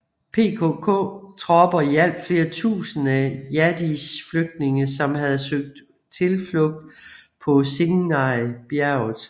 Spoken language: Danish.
PKK tropper hjalp flere tusinde Yazidis flygtninge som havde søgt tilflugt på Sinjar bjerget